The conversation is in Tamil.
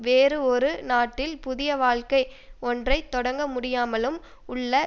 வேறு ஒரு நாட்டில் புதிய வாழ்க்கை ஒன்றை தொடங்க முடியாமலும் உள்ள